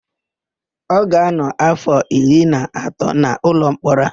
Ọ ga-ánọ̀ áfọ̀ iri na otu n'ụlọmkpọrọ a.